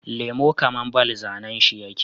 Lemo kaman ball zAnan shi yake